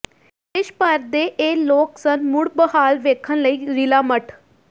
ਦੇਸ਼ ਭਰ ਦੇ ਇਹ ਲੋਕ ਸਨ ਮੁੜ ਬਹਾਲ ਵੇਖਣ ਲਈ ਰਿਲਾ ਮੱਠ